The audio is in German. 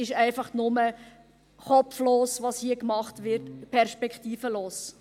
Es ist einfach nur kopflos, was hier gemacht wird, perspektivenlos.